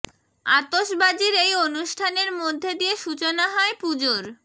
আতসবাজীর এই অনুষ্ঠানের মধ্যে দিয়ে সূচনা হয় পুজোর